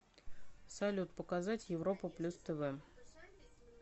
салют показать европа плюс тв